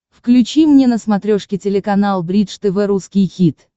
включи мне на смотрешке телеканал бридж тв русский хит